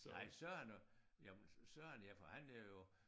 Nej Søren og jamen Søren ja for han er jo